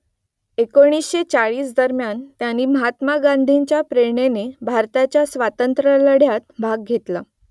एकोणीसशे चाळीस दरम्यान त्यांनी महात्मा गांधींच्या प्रेरणेने भारताच्या स्वातंत्र्यलढ्यात भाग घेतला